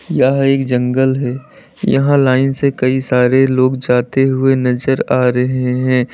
यह एक जंगल है यहां लाइन से कई सारे लोग जाते हुए नजर आ रहे हैं।